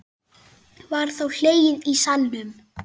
Var þá hlegið í salnum.